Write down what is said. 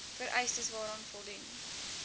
vereistes waaraan voldoen